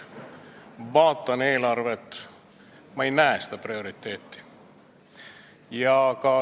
Vaatan eelarvet, ma ei näe seda prioriteeti.